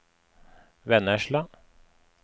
Vennesla